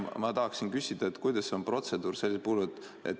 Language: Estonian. Ma tahaksin küsida, et kuidas on see protseduur.